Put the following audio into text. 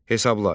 Hesabla.